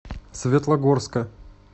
светлогорска